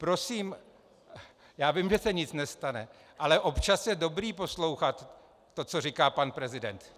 Prosím - já vím, že se nic nestane, ale občas je dobré poslouchat to, co říká pan prezident.